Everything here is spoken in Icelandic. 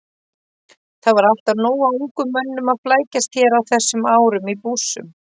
Það var alltaf nóg af ungum mönnum að flækjast hér á þessum árum- í bússum.